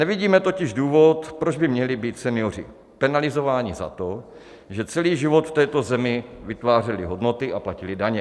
Nevidíme totiž důvod, proč by měli být senioři penalizováni za to, že celý život v této zemi vytvářeli hodnoty a platili daně.